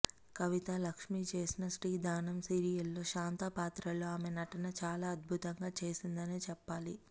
కవిత లక్ష్మి చేసిన శ్రీ ధనం సీరియల్లో శాంత పాత్ర లో ఆమె నటన చాలా అద్భుతంగా చేసిందనే చెప్పాలి